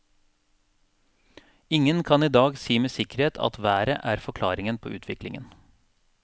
Ingen kan i dag med sikkerhet si at været er forklaringen på utviklingen.